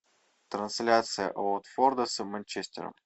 трансляция уотфорда с манчестером